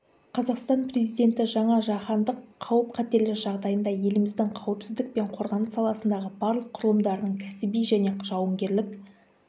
қазақстан президенті жаңа жаһандық қауіп-қатерлер жағдайында еліміздің қауіпсіздік пен қорғаныс саласындағы барлық құрылымдарының кәсіби және жауынгерлік